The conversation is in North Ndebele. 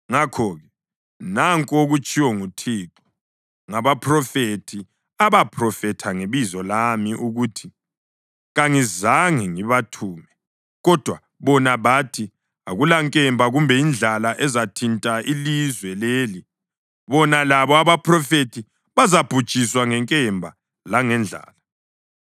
Ngakho-ke, nanku okutshiwo nguThixo ngabaphrofethi abaphrofetha ngebizo lami ukuthi: Kangizange ngibathume, kodwa bona bathi, ‘Akulankemba kumbe indlala ezathinta ilizwe leli.’ Bona labo abaphrofethi bazabhujiswa ngenkemba langendlala.